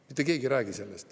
Mitte keegi ei räägi sellest.